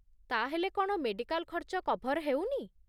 ତା'ହେଲେ କ'ଣ ମେଡିକାଲ୍ ଖର୍ଚ୍ଚ କଭର୍ ହେଉନି?